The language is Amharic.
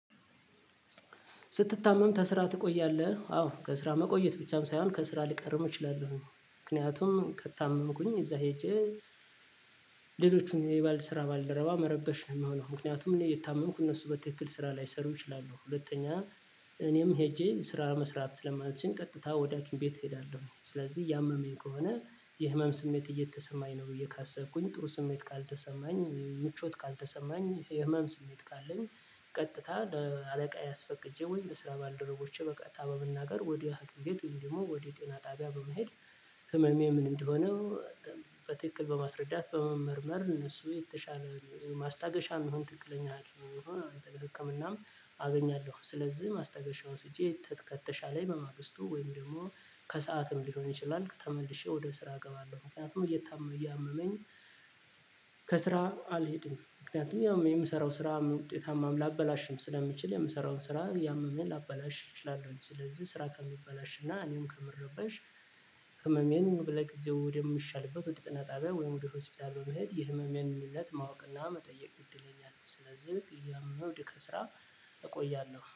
ስትታመም ከስራ ትቆያለህ? አዎ ከስራ መቆየት ብቻም ሳይሆን ከስራ ሊቀርም እችላለሁኝ ምክንያቱም ከታመምኩኝ እዛ ሄጄ ሌሎቹን የባልድ ስራ ባልደረባ መረበሽ ነው የምሆነው። ምክንያቱም እኔ እየታመምኩ እነሱ በትክክል ስራ ላይሰሩ እችላለሁ ሁለተኛ እኔም ሄጄ ስራ መስራት ስለማልችል ቀጥታ ወደ ሀኪም ቤት እሄዳለሁ። ስለዚህ እያመመኝ ከሆነ የህመም ስሜት እየተሰማኝ ነው ብዬ ካሰብኩኝ ጥሩ ስሜት ካልተሰማኝ ምቾት ካልተሰማኝ የህመም ስሜት ካለኝ። ቀጥታ ለአለቃዬ አስፈቅጄ ወይም ለስራ ባልደረቦቼ በቀጥታ በመናገር ወደ ሀኪም ቤት ወይም ደግሞ ወደ ጤና ጣቢያ በመሄድ። ህመሜ ምን እንደሆነ? በትክክል በማስረዳት በመመርመር እነሱ የተሻለ ማስታገሻ የምሆን ትክክለኛ ሐኪምም ይሆን ህክምናም አገኛለሁ። ስለዚህ ማስታገሻ ወስጄ ከተሻለኝ በማግስቱ ወይም ደግሞ ከሰአትም ሊሆን ይችላል ተመልሼ ወደ ስራ እገባለሁ። ምክንያቱም እያመመኝ ከስራ አልሄድም ምክንያቱም ያው የምሰራው ስራም ውጤታማም ላበላሽም ስለምችል የምሰራውን ስራ እያመመኝ ላበላሽ እችላለሁ። ስለዚህ ስራ ከሚበላሽ እና እኔም ከምረበሽ ህመሜን ለጊዜው ወደምሻልበት ወደ ጤና ጣቢያ ወይም ወደ ሆስፒታል በመሄድ የህመሜን ምክንያት ማወቅና መጠየቅ ግድ ይለኛል። ስለዚህ እያመመኝ ከስራ እቆያለሁ